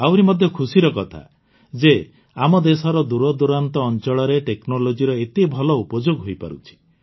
ଆହୁରି ମଧ୍ୟ ଖୁସିର କଥା ଯେ ଆମ ଦେଶର ଦୂରଦୂରାନ୍ତ ଅଞ୍ଚଳରେ technologyର ଏତେ ଭଲ ଉପଯୋଗ ହୋଇପାରୁଛି